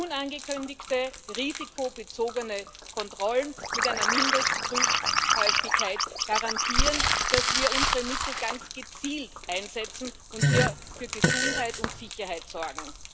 Unangekündigte, risikobezogene Kontrollen mit einer Mindestprüfhäufigkeit garantieren, dass wir unsere Mittel ganz gezielt einsetzen und hier für Gesundheit und Sicherheit sorgen.